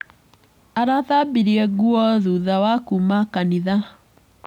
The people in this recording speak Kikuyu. Arathambirie nguo thutha wa kuuma kanitha.